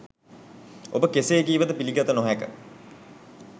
ඔබ කෙසේ කීවද පිළිගත නොහැක.